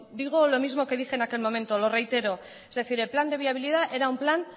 digo lo mismo que dije en aquel momento lo reitero es decir el plan de viabilidad era un plan